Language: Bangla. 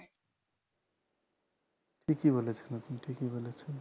ঠিকই বলেছেন আপনি ঠিকই বলেছেন